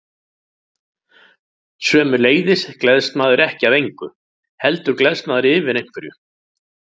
Sömuleiðis gleðst maður ekki af engu, heldur gleðst maður yfir einhverju.